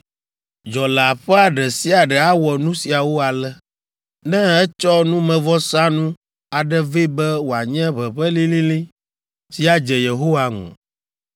“ ‘Dzɔleaƒea ɖe sia ɖe awɔ nu siawo ale, ne etsɔ numevɔsanu aɖe vɛ be wòanye ʋeʋẽ lĩlĩlĩ si adze Yehowa ŋu.